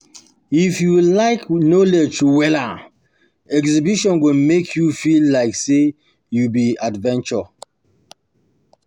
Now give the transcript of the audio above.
If you like knowledge wella, exhibition go make you feel like say you be adventurer.